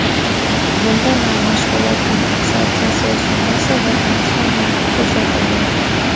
Bunda na mashg‘ulot kompensatsiyasi summasi va transfer narxi ko‘rsatilgan.